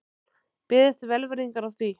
Beðist er velvirðingar á því